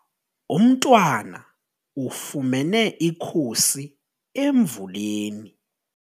Umntwana ufumene ikhusi emvuleni.